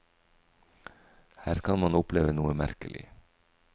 Her kan man oppleve noe merkelig.